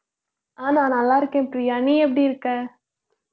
ஆஹ் நான் நல்லா இருக்கேன் பிரியா நீ எப்படி இருக்க